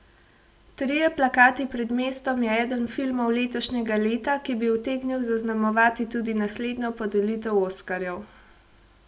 Trije plakati pred mestom je eden filmov letošnjega leta, ki bi utegnil zaznamovati tudi naslednjo podelitev oskarjev.